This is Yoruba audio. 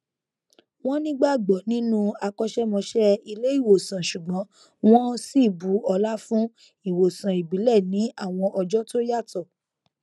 wọn nígbàgbọ nínú akọṣẹmọṣẹ ilé ìwòsàn ṣùgbọn wọn sì bu ọlá fún ìwòsàn ìbílẹ ní àwọn ọjọ tó yàtọ